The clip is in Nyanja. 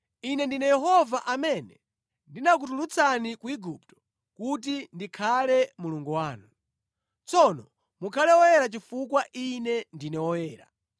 Ine ndine Yehova amene ndinakutulutsani ku Igupto kuti ndikhale Mulungu wanu. Tsono mukhale woyera, chifukwa Ine ndine woyera.